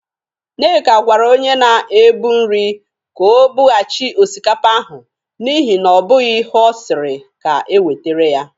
Nnenna gwara onye na-ebụ nri ka o bụghachị osikapa ahụ n'ihi na ọ bụghị ihe ọ siri ka ewetere ya.